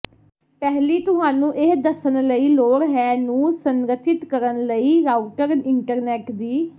ਪਹਿਲੀ ਤੁਹਾਨੂੰ ਇਹ ਦੱਸਣ ਲਈ ਲੋੜ ਹੈ ਨੂੰ ਸੰਰਚਿਤ ਕਰਨ ਲਈ ਰਾਊਟਰ ਇੰਟਰਨੈੱਟ ਦੀ